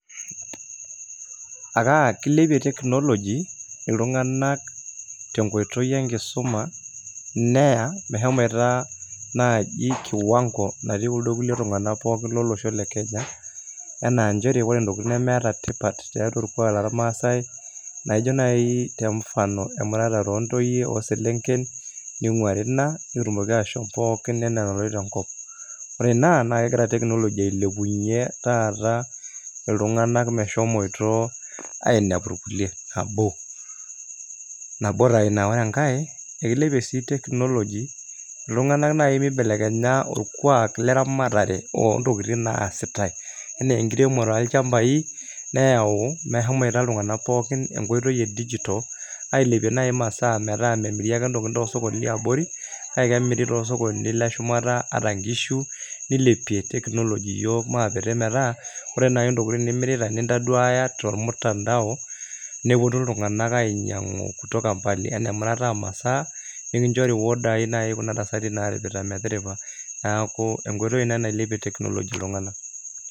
Akaa kilepie teknoloji iltung'anak te nkoitoi enkisuma neya meshomoita naaji [cs kiwang'o nati kuldo kulie tung'anak pookin lolosho le Kenya enaa njere ore ntokitin nemeeta tipat tiatua orkuak lormaasai naijo nai te mfano emuratare oo ntoyie o selenken ning'uari ina pee etumoki aashom pookin enaa enaloito enkop, ore ina naake egira teknoloji ailepunye taata iltung'anak meshomoito ainepu irkuliek nabo, nabo taa ina. Ore enkae kekilepie sii teknoloji itung'anak nai mibelekenya orkuak leramatare oo ntokitin naasitai enee enkiremore oolchambai neeu meshomoita iltung'anak pookin enkoitoi e dijital ailepie nai masaa metaa memiri ake ntokitin too sokoni liabori kake kemiri too sokonini le shumata ata nkishu nilepie teknoloji iyiok maakiti metaa ore nai ntokitin nimirita nintaduaya tormutandao, neponu iltung'anak ainyang'u kutoka mbali, enaa emirata oo masaa, nekinchori orderii nai kuna tasati naaripita metiripa. Neeku enkoitoi ina nailepie teknoloji iltung'anak.